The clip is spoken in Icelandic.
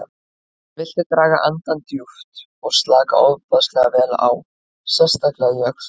Viltu draga andann djúpt og slaka ofboðslega vel á, sérstaklega í öxlunum.